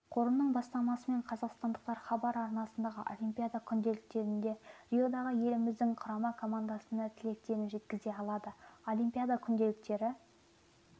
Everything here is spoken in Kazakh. қорының бастамасымен қазақстандықтар хабар арнасындағы олимпиада күнделіктерінде риодағы еліміздің құрама командасына тілектерін жеткізе алады олимпиада күнделіктері